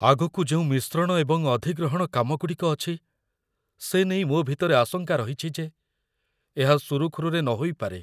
ଆଗକୁ ଯେଉଁ ମିଶ୍ରଣ ଏବଂ ଅଧିଗ୍ରହଣ କାମଗୁଡ଼ିକ ଅଛି, ସେ ନେଇ ମୋ ଭିତରେ ଆଶଙ୍କା ରହିଛି ଯେ ଏହା ସୁରୁଖୁରୁରେ ନ ହୋଇପାରେ।